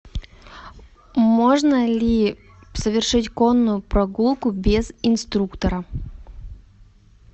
можно ли совершить конную прогулку без инструктора